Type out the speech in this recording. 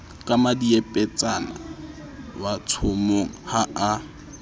ka mmadiepetsana watshomong ha a